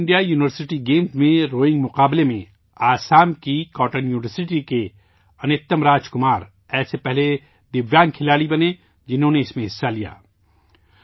کھیلو India university games میں rowing مقابلےمیں، آسام کی کاٹن یونیورسٹی کے انیتم راجکمار ایسے پہلے دویانگ کھلاڑی بنے، جنہوں نے اس میں حصہ لیا